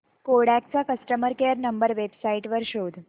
Kodak चा customer care number website वर शोध